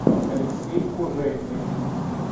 алексей кужельный